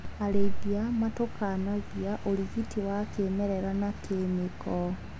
Arĩithia matukanagia ũrigiti wa kĩmerera na kĩmĩko.